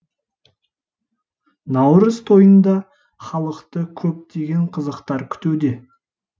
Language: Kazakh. наурыз тойында халықты көптеген қызықтар күтуде